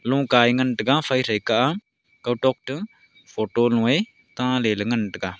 noka ei ngan taiga phai thaika a kao tok to photo nu ei ta ley ley ngan taiga.